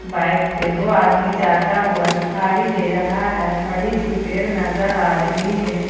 Bike पर दो आदमी जाता हुआ दिखाई दे रहा है बड़ी सी पेड़ नजर आ रही है।